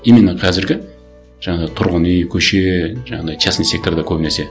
именно қазіргі жаңағы тұрғын үй көше жаңағындай частный секторда көбінесе